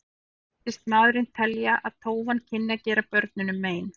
Virtist maðurinn telja að tófan kynni að gera börnunum mein.